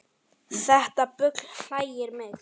Þetta bull hlægir mig